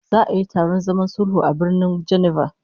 Za'a yi taron zaman sulhu a Birnin Geneva